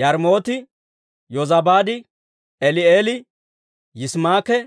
Yaarimooti, Yozabaad, Eli'eeli, Yisimaake,